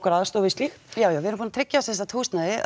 aðstoð við slíkt já já við erum búin að tryggja semsagt húsnæði